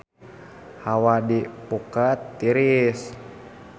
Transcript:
Hawa di Phuket tiris